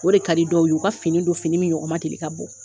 O de ka di dɔw ye, u ka fini don fini min ɲɔgɔn ma deli ka bɔ !